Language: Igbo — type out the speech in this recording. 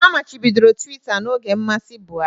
Amachibidoro Tuweeta n'oge mmasị Buhari